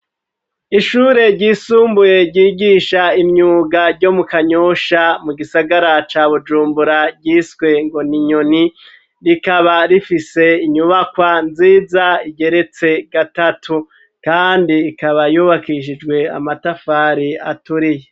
Ishure ryisumbuye ryigisha imyuga ryo mu Kanyusha mu gisagara ca Bujumbura ryiswe ngo n'inyoni rikaba rifise inyubakwa nziza igeretse gatatu kandi ikaba yubakishijwe amatafari aturiye